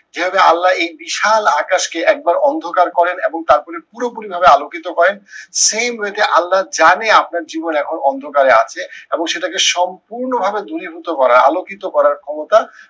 যেভাবে আল্লা এই বিশাল আকাশকে একবার অন্ধকার করেন এবং তারপরে পুরোপুরি ভাবে আলোকিত করেন, same way তে আল্লা জানে আপনার জীবন এখন অন্ধকারে আছে এবং সেটাকে সম্পূর্ণ ভাবে দূরীভূত করা আলোকিত করার ক্ষমতা